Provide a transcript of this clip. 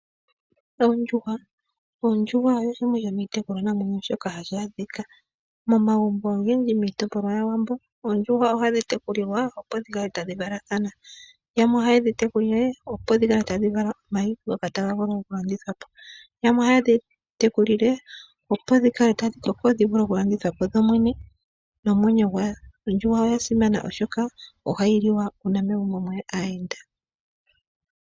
Ondjuhwa oyo shimwe shomiitekulwanamwenyo shoka hashi adhika momagumbo ogendji miitopolwa yaWambo. Oondjuhwa ohadhi tekulilwa opo dhi kale tadhi valathana. Yamwe ohaye dhi tekulile opo dhi kale tadhi vala omayi ngoka taga vulu okulandithwa po. Yamwe ohaye dhi tekulile opo dhi vule okulandithwa po dho mwene nomwenyo gwadho. Ondjuhwa oya simana oshoka ohayi liwa uuna megumbo mweya aayenda.